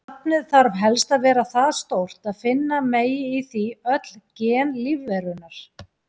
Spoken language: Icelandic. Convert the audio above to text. Safnið þarf helst að vera það stórt að finna megi í því öll gen lífverunnar.